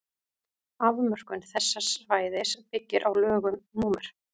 afmörkun þess svæðis byggir á lögum númer